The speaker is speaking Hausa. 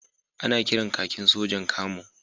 Ana kiran kakin sojan Camo